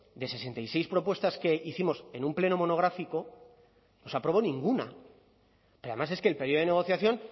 de sesenta y seis propuestas que hicimos en un pleno monográfico no se aprobó ninguna pero además es que el periodo de negociación